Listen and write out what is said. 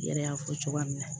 I yɛrɛ y'a fɔ cogoya min na